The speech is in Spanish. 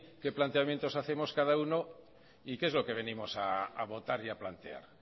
qué planteamientos hacemos cada uno y qué es lo que venimos a votar y a plantear